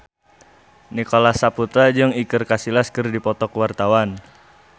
Nicholas Saputra jeung Iker Casillas keur dipoto ku wartawan